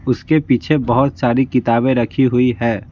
उसके पीछे बहुत सारी किताबें रखी हुई है।